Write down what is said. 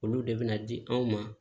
Olu de bɛ na di anw ma